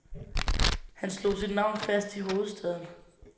Han slog sit navn fast i hovedstaden.